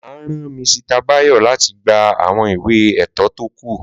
Máà rán Misita Báyọ̀ láti gba àwọn ìwé ètò kọ́ọ̀tù